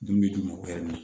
Dumuni d'u ma o